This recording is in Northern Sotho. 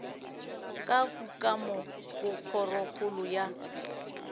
ka kukamo go kgorokgolo ya